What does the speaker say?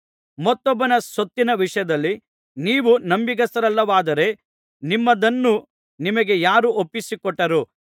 ಮತ್ತೊಬ್ಬನ ಸೊತ್ತಿನ ವಿಷಯದಲ್ಲಿ ನೀವು ನಂಬಿಗಸ್ತರಲ್ಲದವರಾದರೆ ನಿಮ್ಮದನ್ನು ನಿಮಗೆ ಯಾರು ಒಪ್ಪಿಸಿಕೊಟ್ಟಾರು